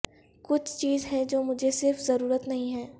کچھ چیز ہے جو مجھے صرف ضرورت نہیں ہے